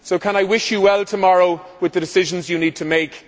I wish you well tomorrow with the decisions you need to make.